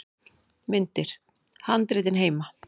Myndir: Handritin heima.